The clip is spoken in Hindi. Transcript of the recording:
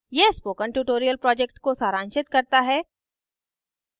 यह spoken tutorial project को सारांशित करता है